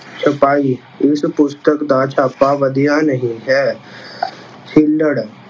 ਛਪਾਈ- ਇਸ ਪੁਸਤਕ ਦਾ ਛਾਪਾ ਵਧੀਆ ਨਹੀਂ ਹੈ। ਛਿੱਲੜ-